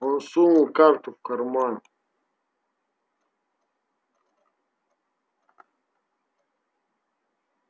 он сунул карту в карман